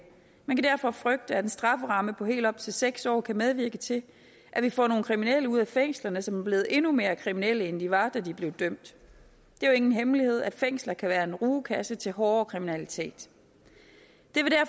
man kan derfor frygte at en strafferamme på helt op til seks år kan medvirke til at vi får nogle kriminelle ud af fængslerne som er blevet endnu mere kriminelle end de var da de blev dømt det er jo ingen hemmelighed at fængsler kan være en rugekasse til hårdere kriminalitet